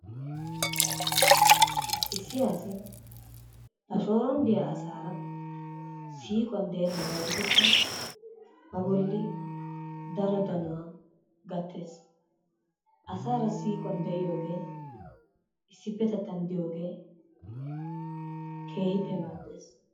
Issi asi ba shooron diya asaara siiquwan deenaba gidikko ba bolli daro danuwa gattees. Asaara siiquwan de'iyoogee issipetettan diyoogee keehippe maadees.